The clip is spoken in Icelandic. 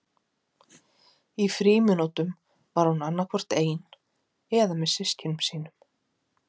Í frímínútum var hún annað hvort ein eða með systkinum sínum.